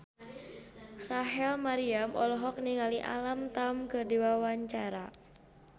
Rachel Maryam olohok ningali Alam Tam keur diwawancara